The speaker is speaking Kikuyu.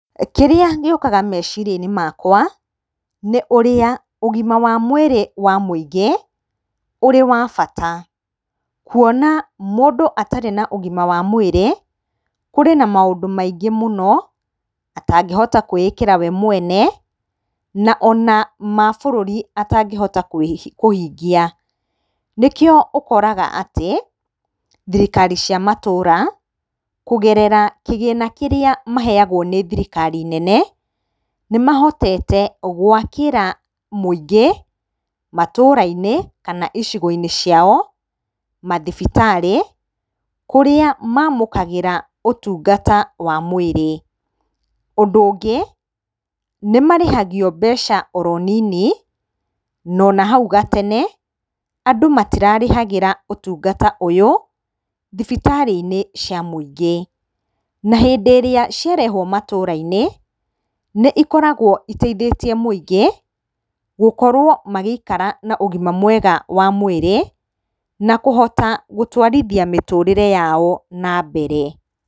Kĩrĩa gĩũkaga meciria-inĩ makwa nĩ ũrĩa ũgima wa mwĩrĩ wa mũingĩ ũrĩ wa bata. Kuona mũndũ atarĩ na ũgima wa mwĩrĩ kũrĩ na maũndũ maingĩ mũno atangĩhota kwĩĩkĩra wee mwene na ona mabũrũri atangĩhota kũhingia. Nĩkĩo ũkoraga atĩ thirikari cia matũra kũgerera kĩgĩna kĩrĩa maheyagwo nĩ thirikari nene, nĩmahotete gwakĩra mũingĩ matũra-inĩ kana icigo-inĩ ciao mathibitarĩ kũrĩa mamũkagĩra ũtungata wa mwĩrĩ. Ũndũ ũngĩ nĩmarĩhagio mbeca oro nini na hau gatene andũ matirarĩhagĩra ũtungata ũyũ thibitarĩ-inĩ cia mũingĩ. Na hĩndĩ ĩrĩa ciarehwo matũra-inĩ nĩcikoragwo citeithĩtie mũingĩ gũkorwo magĩikara na ũgima mwega wa mwĩrĩ na kũhota gũtwarithia mĩtũrĩre yao na mbere.